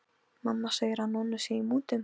Mamma segir að Nonni sé í mútum.